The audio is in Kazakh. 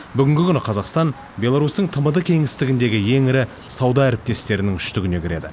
бүгінгі күні қазақстан беларусьтің тмд кеңістігіндегі ең ірі сауда әріптестерінің үштігіне кіреді